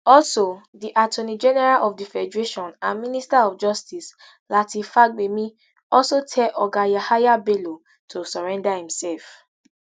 also di attorney general of di federation and minister of justice lateef fagbemi also tell oga yahaya bello to surrender imself